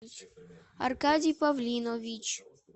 аркадий павлинович